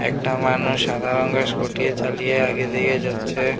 একটা মানুষ সাদা রঙ্গের স্কুটি চালিয়ে আগে দিকে যাচ্ছে।